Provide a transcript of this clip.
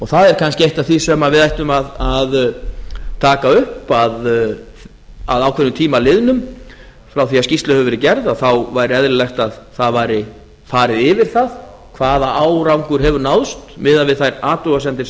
það er kannski eitt af því sem við ættum að taka upp að ákveðnum tíma liðnum frá því að skýrsla hefur verið gerð væri eðlilegt að það væri farið yfir það hvaða árangur hefur náðst miðað við þær athugasemdir